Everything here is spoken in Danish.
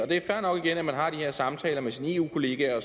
det er fair nok at man har de her samtaler med sine eu kollegaer